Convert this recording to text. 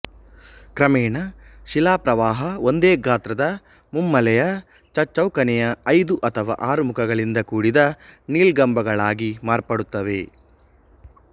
ಕ್ರಮೇಣ ಶಿಲಾ ಪ್ರವಾಹ ಒಂದೇ ಗಾತ್ರದ ಮುಮ್ಮೂಲೆಯ ಚಚ್ಚೌಕನೆಯ ಐದು ಅಥವಾ ಆರು ಮುಖಗಳಿಂದ ಕೂಡಿದ ನೀಳ್ಗಂಬಗಳಾಗಿ ಮಾರ್ಪಡುತ್ತದೆ